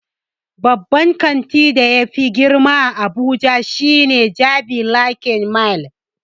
Babban kanti da yafi girma a abuja shine jabi lake mall